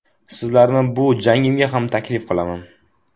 Sizlarni bu jangimga ham taklif qilaman.